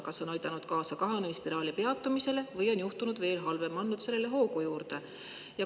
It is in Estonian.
Kas see on aidanud kaasa kahanemisspiraali peatumisele või on juhtunud halvem: on see andnud probleemidele hoogu juurde?